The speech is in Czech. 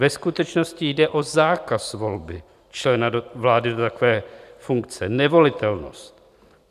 Ve skutečnosti jde o zákaz volby člena vlády do takové funkce, nevolitelnost.